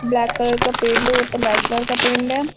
Black colour का paint है ऊपर व्हाइट कलर का पेंट है।